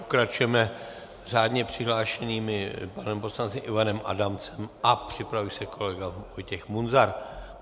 Pokračujeme řádně přihlášeným panem poslancem Ivanem Adamcem a připraví se kolega Vojtěch Munzar.